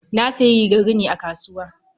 Na sayi rigar rini a kasuwa.